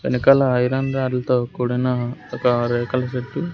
వెనకాల ఐరన్ రాడ్లతో కూడిన ఒక రేకుల షెడ్డు --